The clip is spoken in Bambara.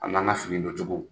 A n'an ka fini don cogo.